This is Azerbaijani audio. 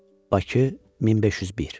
Bakı 1501.